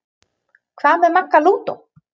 Hvað með Magga lúdó?